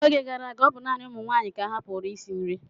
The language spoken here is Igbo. N'oge gara aga, ọ bụ naanị ụmụ nwaanyị ka ahapụụrụ isi nri.